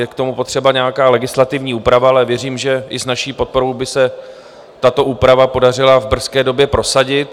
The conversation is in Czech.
Je k tomu potřeba nějaká legislativní úprava, ale věřím, že i s naší podporou by se tato úprava podařila v brzké době prosadit.